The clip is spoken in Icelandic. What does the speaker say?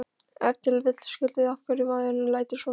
Ef til vill skýrir það af hverju maðurinn lætur svona.